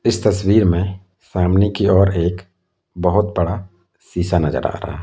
इस तस्वीर में फैमिनी की ओर एक बहोत बड़ा सीसा नजर आ रहा है।